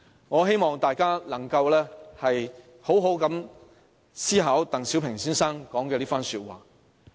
"我希望大家能夠好好思考鄧小平先生的這番話。